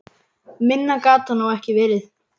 Minna gat það nú ekki verið.